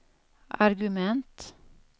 argument